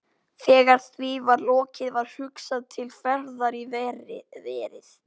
Þegar því var lokið var hugsað til ferðar í verið.